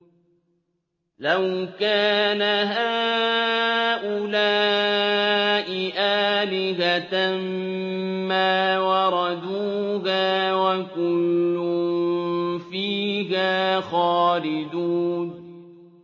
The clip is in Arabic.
لَوْ كَانَ هَٰؤُلَاءِ آلِهَةً مَّا وَرَدُوهَا ۖ وَكُلٌّ فِيهَا خَالِدُونَ